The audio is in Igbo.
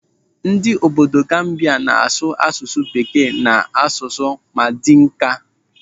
Ndị obodo Gambia n'asụ asụsụ bekee na asụsụ Madinka.